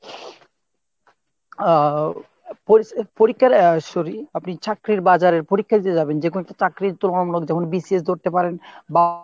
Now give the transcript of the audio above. আহ পরী~ পরীক্ষার sorry আপনি চাকরির বাজারের পরীক্ষা দিতে যাবেন যে কয়েকটি চাকরির যেমন BCS ধরতে পারেন বা